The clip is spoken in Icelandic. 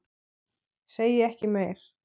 Segi ekki meir.